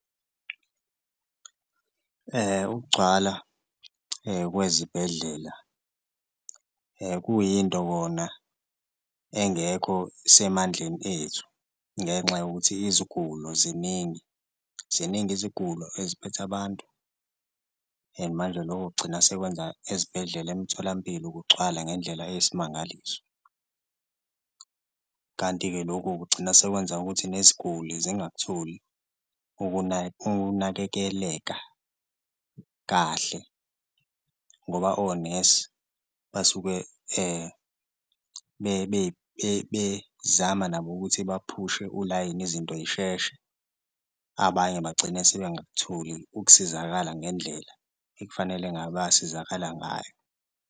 Ukugcwala kwezibhedlela kuyinto kona engekho semandleni ethu ngenxa yokuthi izigulo ziningi, ziningi izigulo eziphethe abantu and manje loko kugcina sekwenza ezibhedlela emtholampilo kugcwala ngendlela eyisimangaliso. Kanti-ke loku kugcina sekwenza ukuthi neziguli zingakutholi ukunakekeleka kahle ngoba onesi basuke bezama nabo ukuthi baphushe ulayini izinto yisheshe, abanye bagcine sebengakutholi ukusizakala ngendlela ekufanele ngabe bayasizakala ngayo.